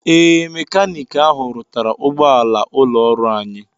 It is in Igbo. Ee, mekanik ahụ rụtara ụgbọala ụlọọrụ anyị.